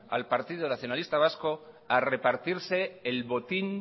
al partido nacionalista vasco